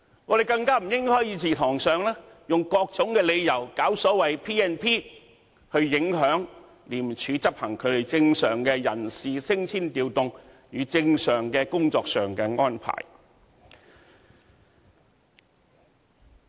我們更不應該在議事堂上，以各種理由引用《立法會條例》來影響廉署執行正常的人事升遷調動，以及正常的工作安排。